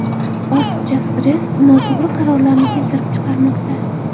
Ortiqcha stress noto‘g‘ri qarorlarni keltirib chiqarmoqda.